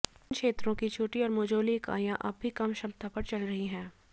इन क्षेत्रों की छोटी और मझोली इकाइयां अब भी कम क्षमता पर चल रही हैं